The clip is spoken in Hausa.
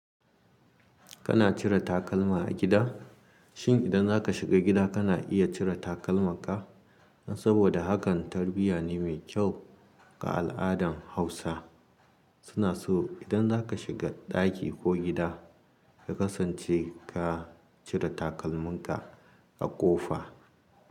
Kana cire takalma a gida? Shin idan zaka shiga gida kana iya cire takalmaka? Saboda hakan tarbiyya ne mai kyau ga al'adan Hausa. Suna so idan zaka shiga ɗaki ko gida ka kasance ka cire takalmanka a ƙofa.